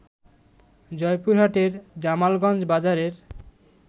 জয়পুরহাটের জামালগঞ্জ বাজারের